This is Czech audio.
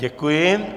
Děkuji.